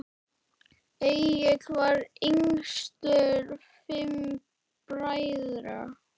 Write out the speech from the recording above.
Egill var yngstur fimm bræðra.